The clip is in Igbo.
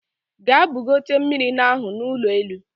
Gaa bugote mmiri n'ahụ n'ụlọ elu!